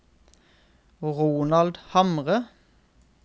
Ronald Hamre